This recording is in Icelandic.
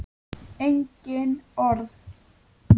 Engin orð.